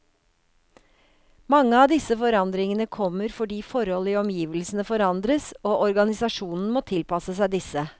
Mange av disse forandringene kommer fordi forhold i omgivelsene forandres, og organisasjonen må tilpasse seg disse.